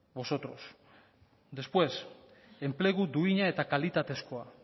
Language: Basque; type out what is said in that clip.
vosotros después enplegu duina eta kalitatezkoa